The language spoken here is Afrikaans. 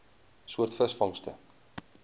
soort visvangste